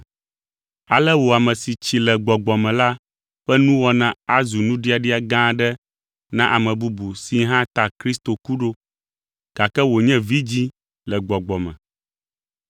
Ale wò ame si tsi le gbɔgbɔ me la ƒe nuwɔna azu nuɖiaɖia gã aɖe na ame bubu si hã ta Kristo ku ɖo, gake wònye vidzĩ le gbɔgbɔ me.